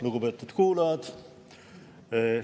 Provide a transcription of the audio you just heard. Lugupeetud kuulajad!